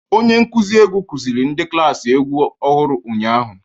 Onye nkuzi egwu kuziri ndi klaasị egwu ọhụrụ ụnyahụ.